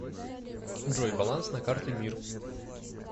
джой баланс на карте мир